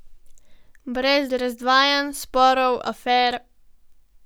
Brez razdvajanj, sporov, afer ...